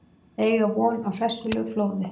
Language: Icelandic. Eiga von á hressilegu flóði